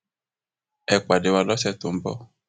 ẹ pàdé wa lọsẹ tó ń bọ